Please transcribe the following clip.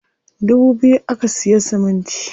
Dubu biyu aka siya siminti.